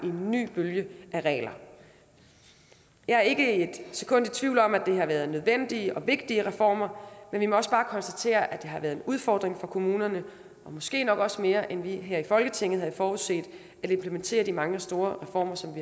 en ny bølge af regler jeg er ikke et sekund i tvivl om at det har været nødvendige og vigtige reformer men vi må også bare konstatere at det har været en udfordring for kommunerne måske nok også mere end vi her i folketinget havde forudset at implementere de mange store reformer som